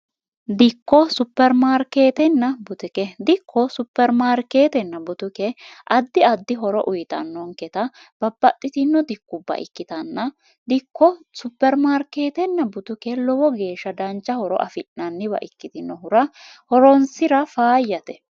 dikko supermaarkeetenna butike dikko supermaarkeetenna butuke addi addi horo uyitannonketa babbaxxitino dikubba ikkitanna dikko supermaarkeetenna butuke lowo geeshsha dancha horo afi'nanniwa ikkitinohura horonsira faayyate